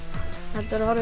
heldur horfa í